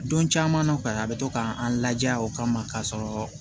Don caman na o ka a bɛ to ka an ladiya o kama k'a sɔrɔ